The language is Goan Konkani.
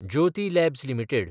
Jyoti labs limited